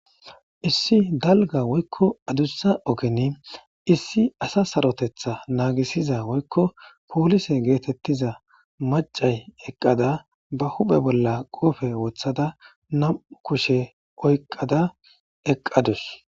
issi dalga woykko adussa ogeni issi asa sarotetha naagisiza woykko poolise geetettiza macay eqqada ba huphe bolla qoofe wothada nam7u kushe oyqqada eqqadus